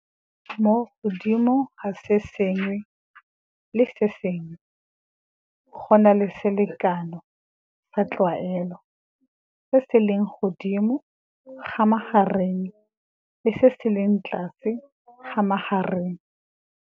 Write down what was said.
Mo go sengwe le sengwe go na le selekanyo sa tlwaelo, se se leng godimo ga magareng le se se leng tlase ga magareng.